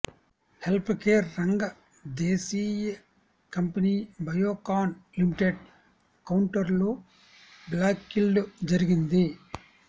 healthcare రంగ దేశీ company Biocon limited కౌంటర్లో బ్లాక్డీల్ జరిగింది